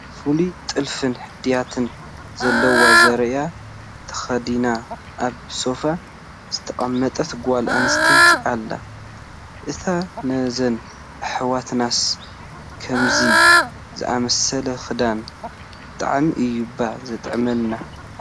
ፍሉይ ጥልፍን ሕድያትን ዘለዎ ዙርያ ተኸዲና ኣብ ሶፋ ዝተቐመጠን ጓል ኣነስተይቲ ኣላ፡፡ ኣታ ነዘን ኣሕዋትናስ ከምዚ ዝኣምሰለ ክዳን ብጣዕሚ እዩ እባ ዘጥዕመለን፡፡